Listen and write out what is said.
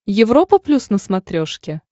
европа плюс на смотрешке